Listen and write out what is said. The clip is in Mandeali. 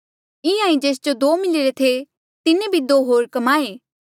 इंहां ईं जेस जो दो मिलिरे थे तिन्हें भी दो होर कमाए